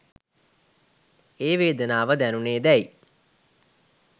ඒ වේදනාව දැනුනේදැයි